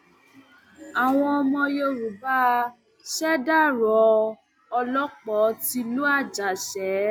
àwọn ọmọ yorùbá ṣèdàrọ olòpó tìlú àjàṣe